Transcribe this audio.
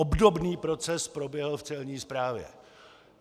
Obdobný proces proběhl v celní správě.